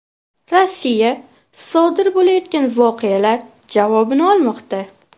Rossiya sodir bo‘layotgan voqealar javobini olmoqda.